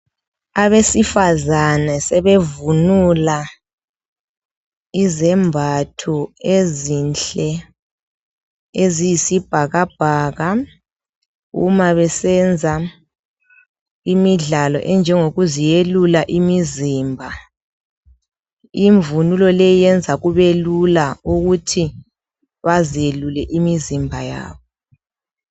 Abesifazane sebevunula izembatho ezinhle eziyisibhakabhaka uma besenz aimidlalo enjengokuziyelula umzimba. Imvunulo leyi yenza kubelula ukuthi bazelule imizimba yabo.